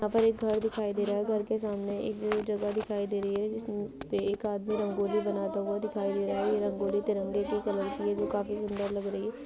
यहाँ पर एक घर दिखाई दे रहा है घर के सामने एक जगह दिखाई दे रही है जिस पे एक आदमी रंगोली बनाता हुआ दिखाई दे रहा है ये रंगोली तिरंगे की कलर की है जो काफी सुन्दर लग रही है।